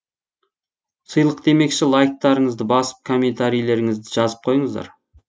сыйлық демекші лайктарыңызды басып комментарийлеріңізді жазып қойыңыздар